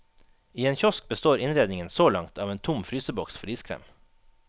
I en kiosk består innredningen så langt av en tom fryseboks for iskrem.